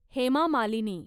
Hema Malini